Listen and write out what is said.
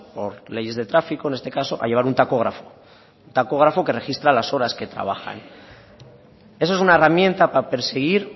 por leyes de tráfico en este caso a llevar un tacógrafo un tacógrafo que registra las horas que trabajan eso es una herramienta para perseguir